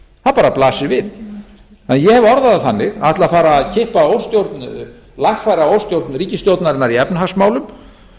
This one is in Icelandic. bara blasir við ég hef orðað það þannig að ætla að fara að lagfæra óstjórn ríkisstjórnarinnar í efnahagsmálum